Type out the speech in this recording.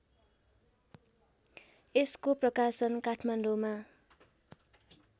यसको प्रकाशन काठमाडौँ